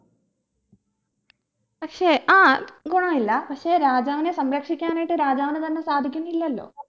പക്ഷെ ആ ഗുണമില്ല പക്ഷെ രാജാവിനെ സംരക്ഷിക്കാനായിട്ട് രാജാവിന് തന്നെ സാധിക്കുന്നില്ലലോ